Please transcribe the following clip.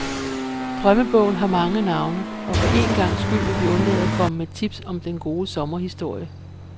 Drømmebogen har mange navne, og for en gangs skyld vil vi undlade at komme med tips om den gode sommerhistorie.